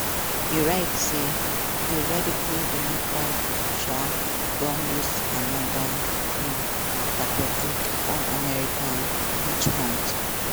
e write say "di radical democrats um don lose anoda um pathetic unamerican witch hunt."